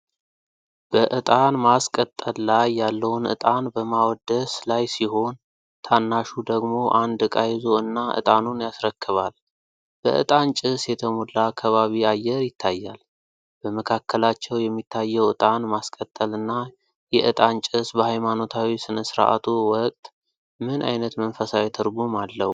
በዕጣን ማስቀጠል ላይ ያለውን እጣን በማወደስ ላይ ሲሆን፣ ታናሹ ደግሞ አንድ ዕቃ ይዞ እና ዕጣኑን ያስረክባል። በእጣን ጭስ የተሞላ ከባቢ አየር ይታያል። በመካከላቸው የሚታየው ዕጣን ማስቀጠልና የዕጣን ጭስ በሃይማኖታዊ ሥነ-ሥርዓቱ ወቅት ምን አይነት መንፈሳዊ ትርጉም አለው?